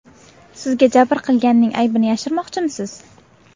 Sizga jabr qilganning aybini yashirmoqchimisiz?